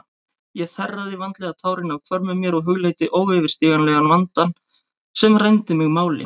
Ég þerraði vandlega tárin af hvörmum mér og hugleiddi óyfirstíganlegan vandann sem rændi mig máli.